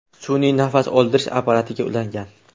sun’iy nafas oldirish apparatiga ulangan.